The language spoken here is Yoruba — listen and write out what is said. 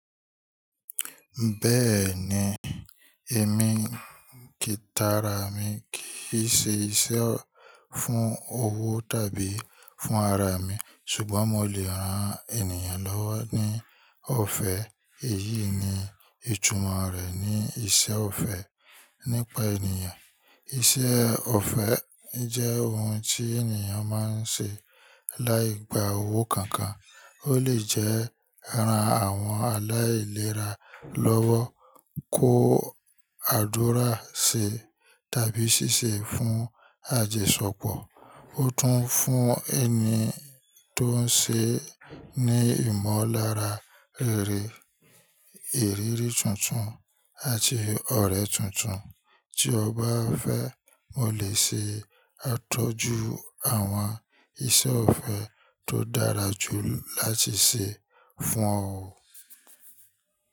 Bẹ́ẹ̀ni, èmi, tikara mi kìí ṣe iṣẹ́ fún owó tàbí fún ara mi ṣùgbọ́n mo lè ran ènìyàn lọ́wọ́ ní ọ̀fẹ́. Èyí ni ìtumọ̀ rẹ̀ ní iṣẹ́ ọ̀fẹ́ nípa ènìyàn. Iṣẹ́ ọ̀fẹ́ jẹ́ ohun tí ènìyàn máa ń ṣe láì gba owó kankan. Ó lè jẹ́ ran àwọn aláìlera lọ́wọ́, kó àdúrà ṣe tàbí ṣiṣẹ́ fún àjosepọ̀. Ó tún fún ẹni tó ń ṣe ní ìmọ̀lára rere, ìrírí tuntun àti ọ̀rẹ́ tuntun. Tí o bá fẹ́, mo lè ṣe àtọ́jú àwọn iṣẹ́ ọ̀fẹ́ tó dára jù láti ṣe fún ọ.